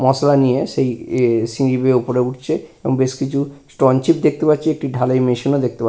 মসলা নিয়ে সেই সিঁড়ি বেয়ে ওপরে উঠছে এবং বেশ কিছু স্টোনচিত দেখতে পাচ্ছি একটি ঢালাই মেশিন ও দেখতে পা --